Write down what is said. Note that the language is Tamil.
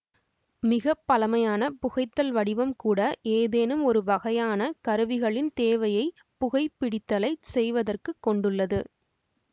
மிக பழமையான புகைத்தல் வடிவம் கூட ஏதேனும் ஒரு வகையான கருவிகளின் தேவையை புகை பிடித்தலைச் செய்வதற்குக் கொண்டுள்ளது